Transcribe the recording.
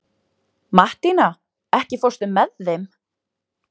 Mattína, ekki fórstu með þeim?